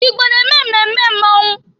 Igbo na-eme mmemme mmọnwụ.